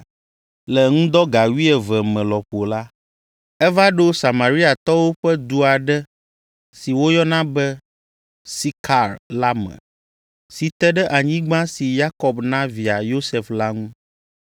Le ŋdɔ ga wuieve me lɔƒo la, eva ɖo Samariatɔwo ƒe du aɖe si woyɔna be Sikar la me, si te ɖe anyigba si Yakob na via Yosef la ŋu.